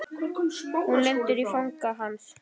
Hún lendir í fangi hans.